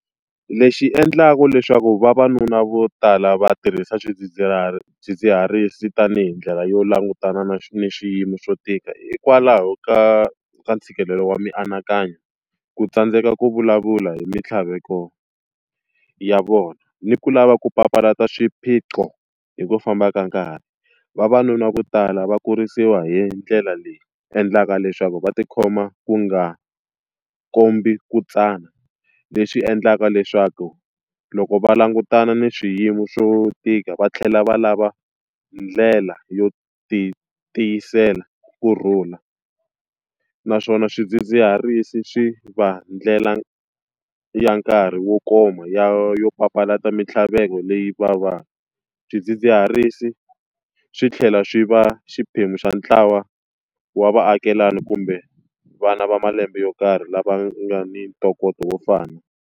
Lexi endlaka leswaku vavanuna vo tala va tirhisa swidzidziharisi tanihi ndlela yo langutana na ni xiyimo xo tika hikwalaho ka ka ntshikelelo wa mianakanyo, ku tsandzeka ku vulavula hi mintlhaveko ya vona, ni ku lava ku papalata swiphiqo hi ku famba ka nkarhi. Vavanuna vo tala va kurisiwa hi ndlela leyi endlaka leswaku va tikhoma ku nga kombi ku tsana. Leswi endlaka leswaku loko va langutana na swiyimo swo tika va tlhela va lava ndlela yo ti tiyisela ku kurhula. Naswona swidzidziharisi swi va ndlela ya nkarhi wo koma ya yo papalata mintlhaveko leyi va va. Swidzidziharisi swi tlhela swi va xiphemu xa ntlawa wa vaakelani kumbe vana va malembe yo karhi lava nga ni ntokoto wo fana.